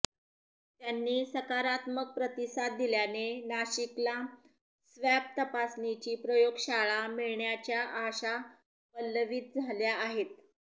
त्यांनी सकारात्मक प्रतिसाद दिल्याने नाशिकला स्वॅब तपासणीची प्रयोगशाळा मिळण्याच्या आशा पल्लवीत झाल्या आहेत